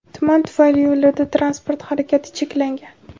Tuman tufayli yo‘llarda transport harakati cheklangan.